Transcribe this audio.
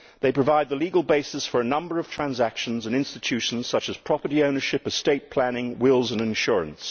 They provide the legal basis for a number of transactions and institutions such as property ownership, estate planning, wills and insurance.